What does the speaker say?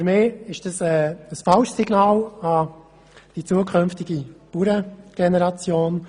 Für mich ist das ein falsches Signal an die zukünftige Bauerngeneration.